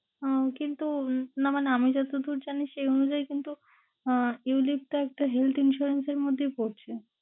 আহ কিন্তু না মানে আমি যতদূর জানি সেই অনুযায়ী কিন্তু আহ ulite টা একটা health insurance এর মধ্যেই পরছে।